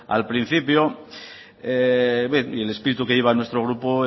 al principio el espíritu que lleva nuestro grupo